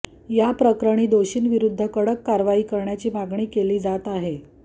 या प्रकरणी दोषींविरुद्ध कडक कारवाई करण्याची मागणी केली जात आहे